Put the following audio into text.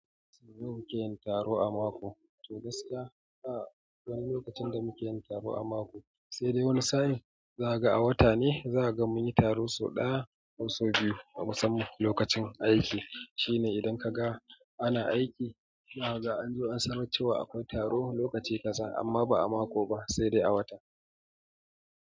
Sau nawa kuke yin taro a mako, to gaskiya a wani lokacin da muke yin taro a mako, sai dai wani sani za ka ga a wata ne za ka ga mun yi taro sau ɗaya ko sau biyu a musamman lokacin aiki. Shi ne idan ka ga ana aiki, zaka ga an zo an sanar cewa akwai taro lokaci kaza amma ba a mako ba sai dai a wata.